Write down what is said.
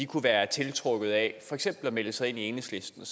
kunne være tiltrukket af for eksempel at melde sig ind i enhedslisten